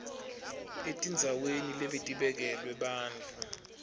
etindzaweni lebetibekelwe bantfu